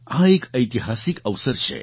આ એક ઐતિહાસિક અવસર છે